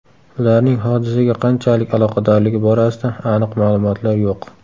Ularning hodisaga qanchalik aloqadorligi borasida aniq ma’lumotlar yo‘q.